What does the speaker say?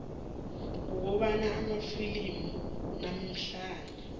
kukhona amafilimu lamahlaya